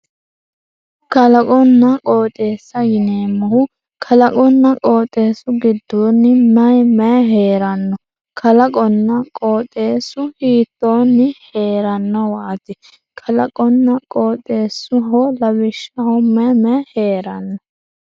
kalaqonna qooxeessaho yineemmohu kalaqonna qooxeessu giddoonni may may heeranno kalaqonna qooxeessu hiittoonni heerannowaati kalaqonna qooxeessaho lawishshaho may may heeranno.